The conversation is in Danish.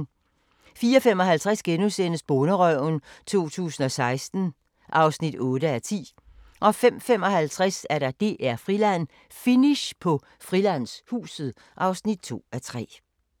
04:55: Bonderøven 2016 (8:10)* 05:55: DR-Friland: Finish på Frilandshuset (2:3)